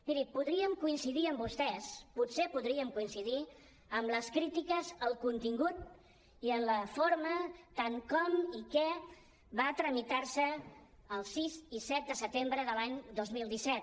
miri podríem coincidir amb vostès potser podríem coincidir amb les crítiques al contingut i a la forma tant al com i al què va tramitar se el sis i set de setembre de l’any dos mil disset